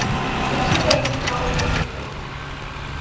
e tshotseng ditlhogo tsotlhe tse